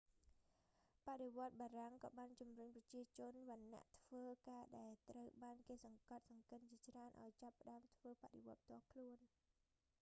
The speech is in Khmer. បដិវត្តបារាំងក៏បានជំរុញប្រជាជនវណ្ណៈធ្វើការដែលត្រូវបានគេសង្កត់សង្កិនជាច្រើនឱ្យចាប់ផ្តើមធ្វើបដិវត្តផ្ទាល់ខ្លួន